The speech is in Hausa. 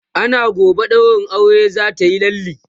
ana gobe ɗaurin auren zatayi lalle